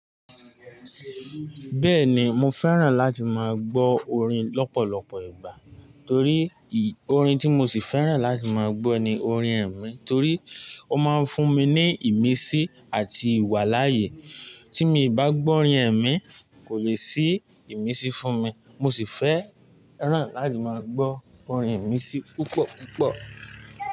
Bẹ́ẹ̀ni, mo fẹ́ràn láti máa gbọ́ orin lọ́pọ̀lọpọ̀ ìgbà, torí orin tí mo sì fẹ́ràn láti máa gbọ́ ni orin ẹ̀mí torí ó máa ń fún mi ní ìmísí àti ìwà láàyè. Tí mo bá gbọ́ orin ẹ̀mí kò lè sí ìmísí fún mi, mo sì fẹ́ràn láti máa gbọ́ orin ìmísí púpọ̀ púpọ̀